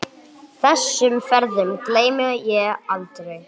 Þessum ferðum gleymi ég aldrei.